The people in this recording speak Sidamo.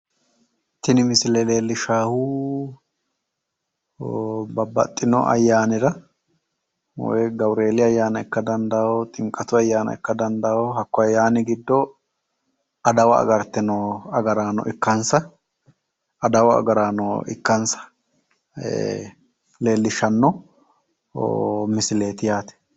Tini misile leellishshaahu babbaxxino ayyaanira woyi gawureeli ayyaana ikka dandawo. ximqatu ayyaana ikka dandawo. Hakko ayyaani giddo adawa agarte noo agaraano ikkansa adawu agaraano ikkansa leellishshanno misileeti yaate.